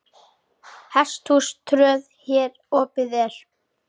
Hesthús tröð hér opið er.